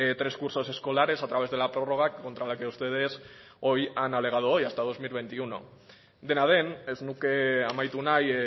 tres cursos escolares a través de la prórroga contra la que ustedes han alegado hoy hasta dos mil veintiuno dena den ez nuke amaitu nahi